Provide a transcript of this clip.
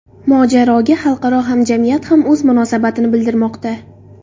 Mojaroga xalqaro hamjamiyat ham o‘z munosabatini bildirmoqda.